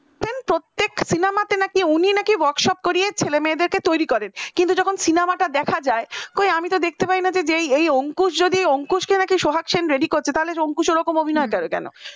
নাকি workshop করিয়ে ছেলেমেয়েদেরকে তৈরি করে কিন্তু যখন cinema টা দেখা যায় কই আমি যে দেখতে পায় না যে অঙ্কুশ কে নাকি সোহাগ seen ready করছে তাহলে অঙ্কুশ ওরকম অভিনয় কেন